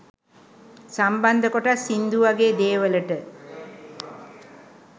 සම්බන්ධ කොටස් සිංදු වගේ දේවලට